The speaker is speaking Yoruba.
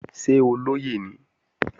Ṣé olóyè ni?